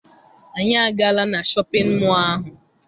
Anyị agaala na shọpịn mọọ ahụ.